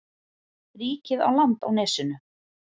Ríkið á land á nesinu.